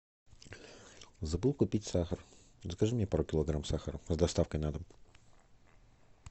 забыл купить сахар закажи мне пару килограмм сахара с доставкой на дом